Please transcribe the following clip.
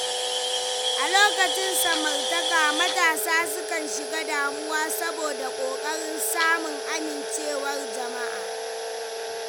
A lokacin samartaka, matasa sukan shiga damuwa saboda ƙoƙarin samun amincewar jama’a.